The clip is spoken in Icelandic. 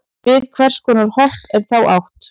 við hvers konar hopp er þá átt